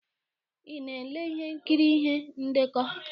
Ị na-ele ihe nkiri ihe ndekọ?